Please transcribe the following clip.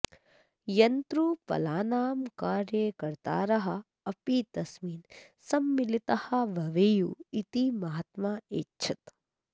यन्त्रोपलानां कार्यकर्तारः अपि तस्मिन् सम्मिलिताः भवेयुः इति महात्मा ऐच्छत्